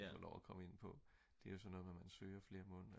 de havde fået lov at komme ind på det er jo sådan noget med at man søger flere måneder